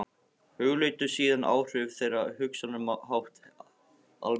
Hugleiddu síðan áhrif þeirra á hugsunarhátt almennings.